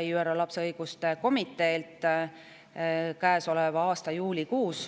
ÜRO lapse õiguste komitee oma viimati antud soovitustes, mille Eesti sai käesoleva aasta juunikuus.